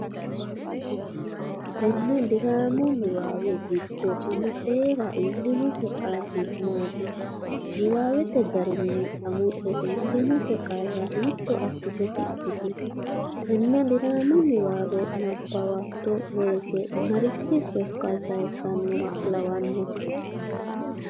Tenne diraamu niwaawe giddo Qamucera iillinose qarri maati? Niwaawete garinni Qamuce iillinose qarra hiitto assite tidhitu? Tenne diraamu niwaawe nabbawitto woyte marichi sokka sayissannoha lawannohe?